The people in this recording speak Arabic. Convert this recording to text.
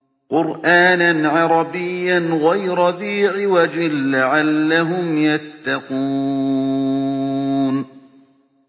قُرْآنًا عَرَبِيًّا غَيْرَ ذِي عِوَجٍ لَّعَلَّهُمْ يَتَّقُونَ